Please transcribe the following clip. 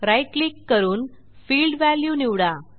right click करून field value निवडा